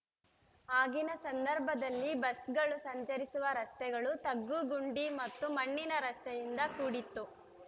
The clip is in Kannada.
ಆಗಿನ ಸಂದರ್ಭದಲ್ಲಿ ಬಸ್‌ಗಳು ಸಂಚರಿಸುವ ರಸ್ತೆಗಳು ತಗ್ಗುಗುಂಡಿ ಮತ್ತು ಮಣ್ಣಿನ ರಸ್ತೆಯಿಂದ ಕೂಡಿತ್ತು